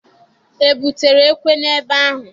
E butere ekwe n'ebe ahụ?